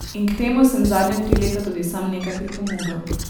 In k temu sem zadnja tri leta tudi sam nekaj pripomogel.